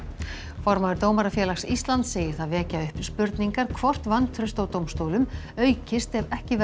formaður Dómarafélags Íslands segir það vekja upp spurningar hvort vantraust á dómstólum aukist ef ekki verði